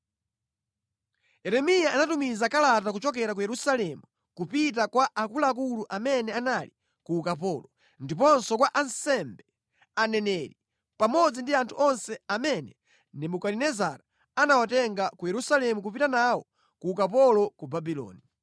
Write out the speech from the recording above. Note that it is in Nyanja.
Yeremiya anatumiza kalata kuchokera ku Yerusalemu kupita kwa akuluakulu amene anali ku ukapolo, ndiponso kwa ansembe, aneneri pamodzi ndi anthu onse amene Nebukadinezara anawatenga ku Yerusalemu kupita nawo ku ukapolo ku Babuloni.